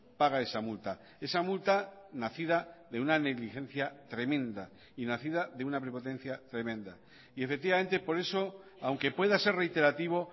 paga esa multa esa multa nacida de una negligencia tremenda y nacida de una prepotencia tremenda y efectivamente por eso aunque pueda ser reiterativo